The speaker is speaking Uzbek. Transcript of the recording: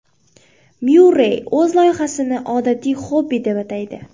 Myurrey o‘z loyihasini odatiy xobbi deb ataydi.